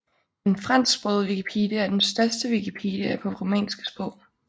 Den fransksprogede Wikipedia er den største Wikipedia på romanske sprog